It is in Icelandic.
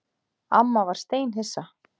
Amma var steinhissa.